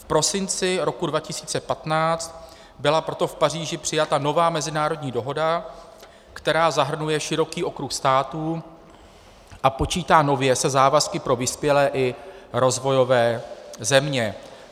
V prosinci roku 2015 byla proto v Paříži přijata nová mezinárodní dohoda, která zahrnuje široký okruh států a počítá nově se závazky pro vyspělé i rozvojové země.